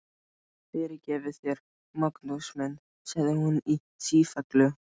Guð fyrirgefi þér, Magnús minn, sagði hún í sífellu.